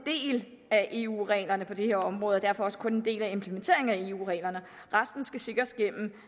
er af eu reglerne på det her område og derfor også kun en del af implementeringen af eu reglerne resten skal sikres gennem